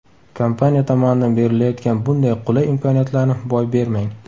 Kompaniya tomonidan berilayotgan bunday qulay imkoniyatlarni boy bermang.